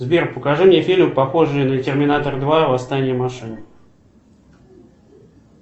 сбер покажи мне фильм похожий на терминатор два восстание машин